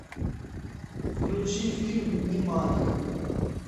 включи фильм немане